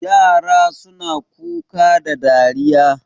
Yara suna Kuka da dariya